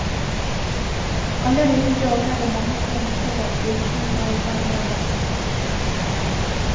Allerede i dag er det mange tegn til at gulltiden er i ferd med å ta slutt.